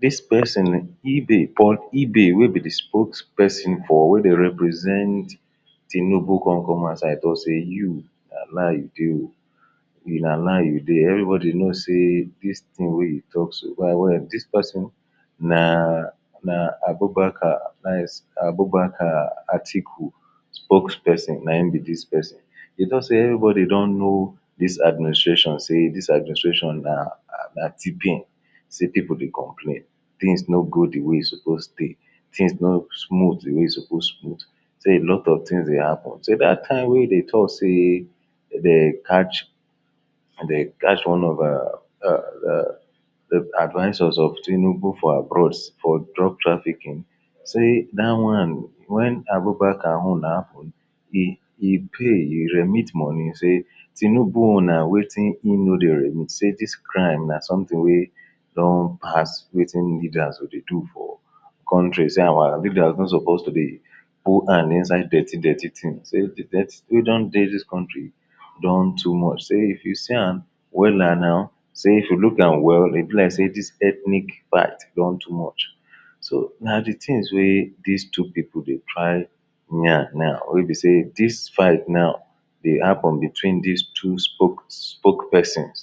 dis person ibe paul ibe wey be the spokeperson for wey dey represent Tinubu con come outside talk sey you na lie you de na lie you de every body know sey dis thing wey you talk so by word, dis person naaaa na abubakar advice abubakar atiku spokeperson nayin be dis person e no sey every body don know dis administration sey dis administration na na T-pain sey people dey complain things no go the way e suppose be things no smooth the wey e suppose smooth sey alot of things dey happen sey dat time wey e dey talk sey dey catch dey catch one of um um the advisor of Tinubu for abroad for drug trafficking sey da one when abubakar own happen e e pay e remit money sey Tinubu own na wetin e no de remit sey dis crime na something wey don pass wetin leaders go dey do for contries sey our leaders no suppose to dey put hand inside dirty-dirty things sey the dirty we don dey dis country don too much sey if see yam wey wella now sey if you lookam well e be like sey dis ethnic fight don too much so na the things wey dis two people dey try yarn now wey be say dis fight now e dey happen between dis two spoke spokepersons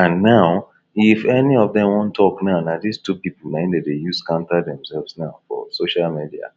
and now if any of dem wan talk now na dis two people nayin dem dey use counter themselves now for social media